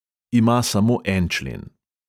Ima samo en člen.